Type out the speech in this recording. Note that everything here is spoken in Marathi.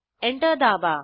एंटर दाबा